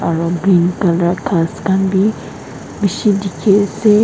aru green colour ghass khan bi bishi dikhi ase.